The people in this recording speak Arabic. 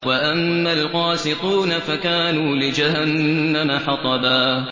وَأَمَّا الْقَاسِطُونَ فَكَانُوا لِجَهَنَّمَ حَطَبًا